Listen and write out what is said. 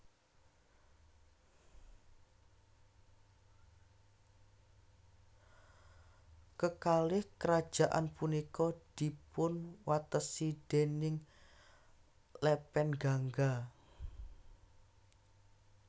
Kekalih kerajaan punika dipun watesi déning lepen Gangga